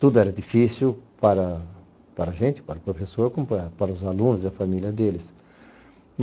Tudo era difícil para para a gente, para o professor, como para os alunos e a família deles.